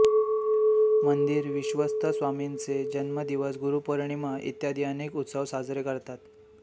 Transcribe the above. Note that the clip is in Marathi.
मंदिर विश्वस्त स्वामींचे जन्मदिवस गुरुपौर्णिमा इत्यादी अनेक उत्सव साजरे करतात